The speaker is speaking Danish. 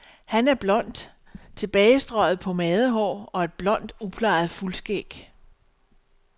Han har blond, tilbagestrøget pomadehår og et blond, uplejet fuldskæg.